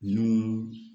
N'u